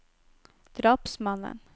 drapsmannen